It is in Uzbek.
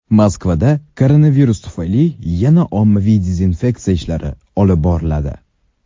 Moskvada koronavirus tufayli yana ommaviy dezinfeksiya ishlari olib boriladi.